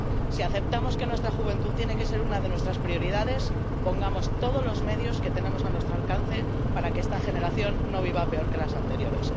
Si aceptamos que nuestra juventud tiene que ser una de nuestras prioridades, pongamos todos los medios que tenemos a nuestro alcance para que esta generación no viva peor que las anteriores.